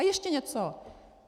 A ještě něco.